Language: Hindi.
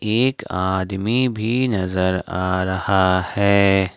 एक आदमी भी नजर आ रहा है।